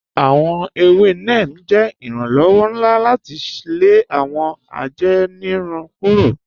Awọn èwè Neem jẹ iranlọwọ̀ nlá láti lè awọn àjẹ́nìrùn kúrò.